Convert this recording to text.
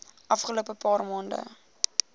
afgelope paar maande